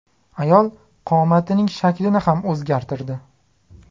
Ayol qomatining shaklini ham o‘zgartirdi.